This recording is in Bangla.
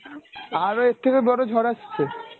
আরও এর থেকেও বড় ঝড় আসছে?